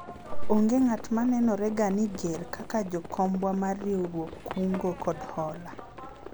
onge ng'at ma nenore ga ni ger kaka jakombwa mar riwruog kungo kod hola